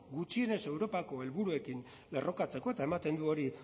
gutxienez europako helburuekin lerrokatzeko eta ematen du hori